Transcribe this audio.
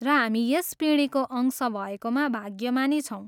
र हामी यस पिँढीको अंश भएकोमा भाग्यमानी छौँ।